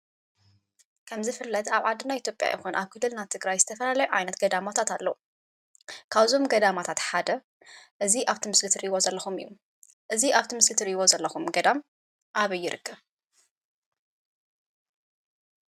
ከም ዝፍለጥ አብ ዓድና ኢትጲያ ይኩን፣ አብ ዓድና ትግራይ ዝተፈላለዩ ዓይነት ገዳማት አለው፡፡ ካብ እዞም ገዳማት ሓደ እዚ አብ እዚ ምስሊ እትሪኢዎ ዘለኩም እዩ፡፡ እዚ አብ እዚ ምሰሊ እትሪኢዎ ዘለኩም ገዳም አበይ ይርከብ?